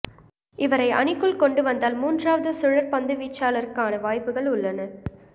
இவரை அணிக்குள் கொண்டுவந்தால் மூன்றாவது சுழற் பந்துவீச்சாளருக்கான வாய்ப்புகள் உள்ளன